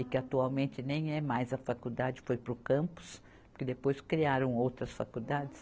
E que atualmente nem é mais a faculdade, foi para o campus, porque depois criaram outras faculdades.